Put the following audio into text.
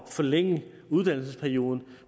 forlænge uddannelsesperioden